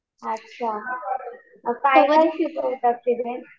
अच्छा. काय काय शिकवतात तिथे?